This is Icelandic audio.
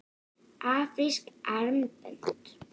Afrísk armbönd?